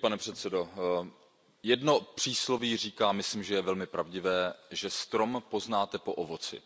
Pane předsedající, jedno přísloví říká a myslím, že je velmi pravdivé Strom poznáte po ovoci.